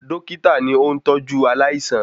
Dọ́kítà ni óún tọ́jú aláìsàn